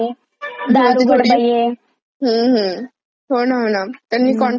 हम्म हम्म. होना होना. त्यांनी कॉन्टेक्सट चांगला घेतला यावेळेस सगळ्या सिरिअल्स चा.